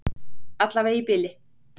Allavega í bili.